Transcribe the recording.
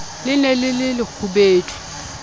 le ne le le lekgubedu